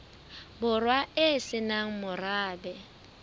borwa e se nang morabe